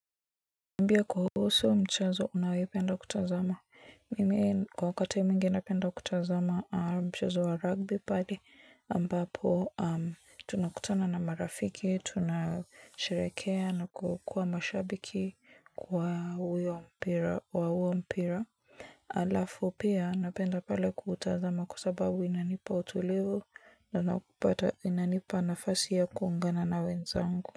Nambie kuhusu mchezo unaoipenda kutazama. Mimi kwa wakati mwingi napenda kutazama mchezo wa rugby pale ambapo tunakutana na marafiki, tunasherehekea na kukuwa mashabiki wa huo mpira. Alafu pia napenda pale kutazama kwa sababu inanipa utulivu na kupata inanipa nafasi ya kuungana na wenzangu.